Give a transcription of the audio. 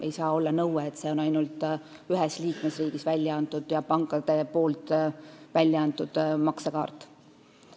Ei saa olla nõuet, et peab olema ainult ühes liikmesriigis pankade poolt väljaantud maksekaart.